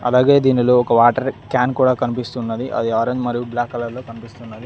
అలాగే దీనిలో ఒక వాటర్ కాన్ కూడా కన్పిస్తున్నది అది ఆరెంజ్ మరియు బ్లాక్ కలర్లో కన్పిస్తున్నది.